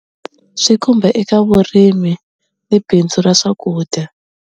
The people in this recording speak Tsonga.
Swi khumba eka vurimi ni bindzu ra swakudya.